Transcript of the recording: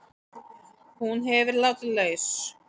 Hún hefur verið látin laus